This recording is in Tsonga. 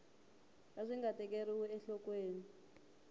a swi nga tekeriwi enhlokweni